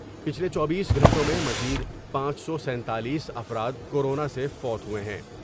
پچھلے چوبیس گھنٹوں میں مزید پانچ سو سینتالیس افراد کورونا سے فوت ہوۓ ہیں ۔